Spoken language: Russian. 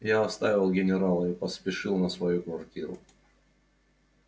я оставил генерала и поспешил на свою квартиру